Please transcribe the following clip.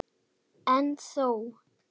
En þó.